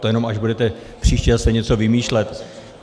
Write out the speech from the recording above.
To jenom až budete příště zase něco vymýšlet.